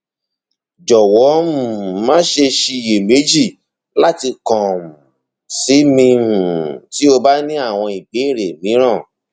jọwọ um maṣe ṣiyemeji lati kan um si mi um ti o ba ni awọn ibeere miiran